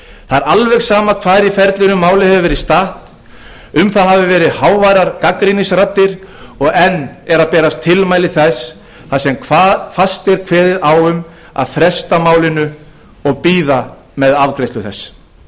það er alveg sama hvar í ferlinu málið hefur verið statt um það hafa verið háværar gagnrýnisraddir og enn eru að berast tilmæli þar sem fast er kveðið á um að fresta málinu og bíða með afgreiðslu þess